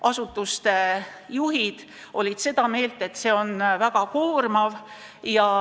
Asutuste juhid olid seda meelt, et see on väga koormav.